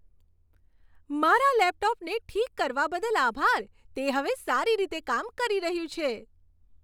મારા લેપટોપને ઠીક કરવા બદલ આભાર. તે હવે સારી રીતે કામ કરી રહ્યું છે.